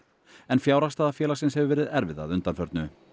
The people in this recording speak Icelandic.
en fjárhagsstaða félagsins hefur verið erfið að undanförnu